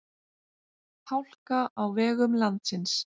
Hálka á vegum landsins